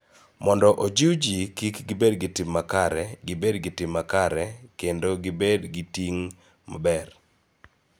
Mondo ojiw ji mondo kik gibed gi tim makare, gibed gi tim makare, kendo gibed gi ting� maber